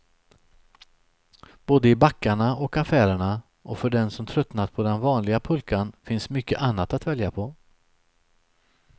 Både i backarna och affärerna, och för den som tröttnat på den vanliga pulkan finns mycket annat att välja på.